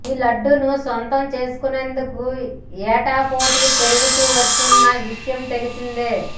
ఈ లడ్డూను సొంతం చేసుకునేందుకు ఏటా పోటీ పెరుగుతూ వస్తోన్న విషయం తెలిసిందే